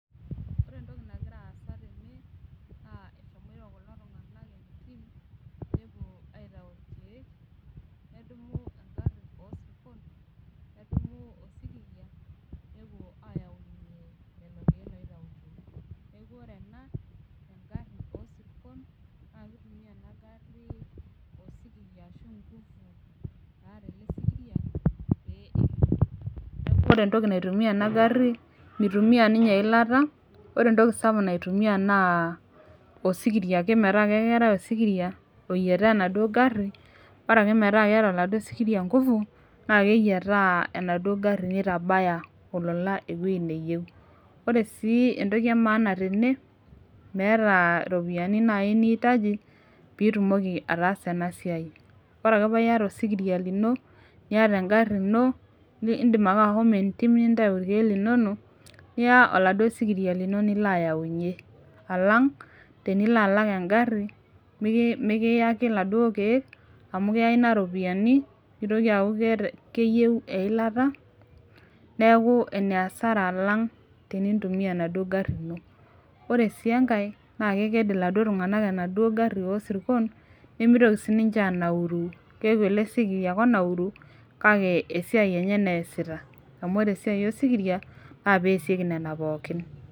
Ore entoki nagira aasa tene naa eshomoito kulo tung'anak entim nepuo aitau irkeek nedumu engarri osirkon nedumu osikiria nepuo ayaunyie lelo keek loitautuo neku ore ena engarri osirkon naa kitumia ena garri osikiria ashu ingufu naata ele sikiria pee elo neku ore entoki naitumia ena garri mitumia ninye eilata ore entoki sapuk naitumia naa osikiria ake metaa ake keetae osikiria oyiataa enaduo garri bora ake metaa keeta oladuo sikiria ingufu naa keyiataa enaduo garri nitabaya olola enaduo wueji neyieu sii entoki e maana tene meeta iropiyiani naaji niitaji pitumoki ataasa ena siai ore ake paiyata osikiria lino niata engarri ino indim ake ahomo entim nintau irkeek linonok niya oladuo sikiria lino nilo ayaunyie alang tenilo alak engarri miki mikiyaki iladuo keek amu keya ina iropiyiani nitoki aaku keeta keyieu eilata neeku ene asara alang tenintumia enaduo garri ino ore sii enkae naa keked iladuo tung'anak enaduo garri osirkon nemitoki sininche anauru keeku ele sikiria ake onauru kake esiai enye naa eesita amu ore esiai osikiria naa peesieki nena pookin.